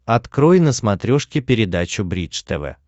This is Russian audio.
открой на смотрешке передачу бридж тв